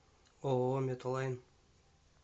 ооо мета лайн